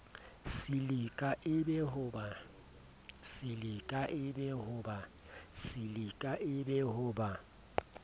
silika e be ho ba